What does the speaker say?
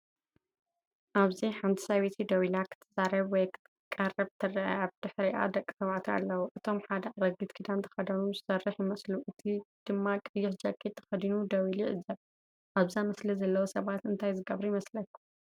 ኣብዚ ሓንቲ ሰበይቲ ደው ኢላ ክትዛረብ ወይ ክትቀርብ ትርአ። ብድሕሪኣ ደቂ ተባዕትዮ ኣለዉ። እቶም ሓደ ኣረጊት ክዳን ተኸዲኑ ዝሰርሕ ይመስሉ፡ እቲ ድማ ቀይሕ ጃኬት ተኸዲኑ ደው ኢሉ ይዕዘብ። ኣብዛ ስእሊ ዘለዉ ሰባት እንታይ ዝገብሩ ይመስሉ?